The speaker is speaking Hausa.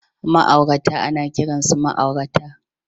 Ma'aurata ana kiransu ma'aurata